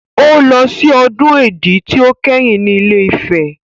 Ó lọ sí ọdún Èdí tí ó kẹ́yìn ní Ilé-Ifẹ̀.